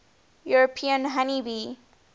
european honey bee